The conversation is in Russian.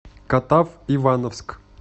катав ивановск